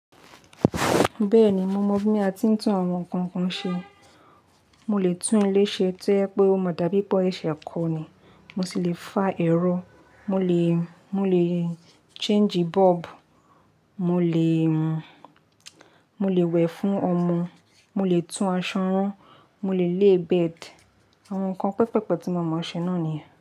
Bẹ́ẹ̀ni, mo mọ bí a ti ń tún àwọn nǹkan kan ṣe. Mo lè tún ilé ṣe tí ẹ pé ó máa dàbí bó ṣe kò ní, mo sì le fa ẹ̀rọ, mo lè, mo lè paro bulb, mo lè, mo lè wẹ̀ fún ọmọ, mo lè tún aṣọ rán, mo lè té ibusun. Àwọn nǹkan pẹpẹ̀pẹ̀ tí mo mọ ṣe náà niyen.